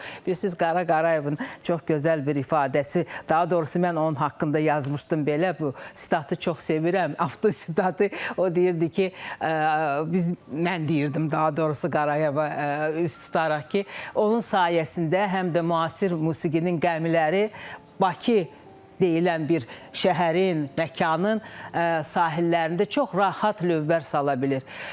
Bilirsiniz, Qara Qarayevin çox gözəl bir ifadəsi, daha doğrusu, mən onun haqqında yazmışdım belə, bu sitatı çox sevirəm, Avto sitatı, o deyirdi ki, biz, mən deyirdim daha doğrusu, Qarayeva üz tutaraq ki, onun sayəsində həm də müasir musiqinin gəmiləri Bakı deyilən bir şəhərin, məkanın sahillərində çox rahat lövbər sala bilir.